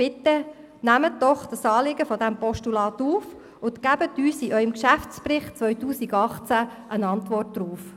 Bitte nehmen Sie das Anliegen dieses Postulats auf und geben Sie uns in Ihrem Geschäftsbericht 2018 eine Antwort darauf.